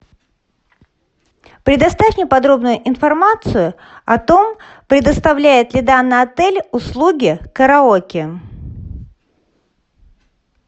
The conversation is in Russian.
предоставь мне подробную информацию о том предоставляет ли данный отель услуги караоке